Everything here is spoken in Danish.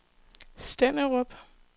Stenderup